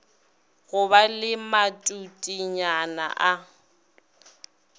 go ba le matutenyana a